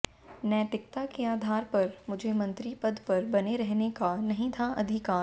नैतिकता के आधार पर मुझे मंत्री पद पर बने रहने का नहीं था अधिकार